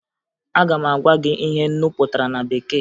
Aga m agwa gị ihe nnu pụtara na bekee